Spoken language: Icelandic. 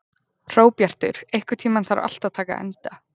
Hróbjartur, einhvern tímann þarf allt að taka enda.